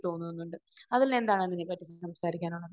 തോന്നുന്നുണ്ട്. അഖിലിന് എന്താണ് അതിനെ പറ്റി സംസാരിക്കാനുള്ളത്?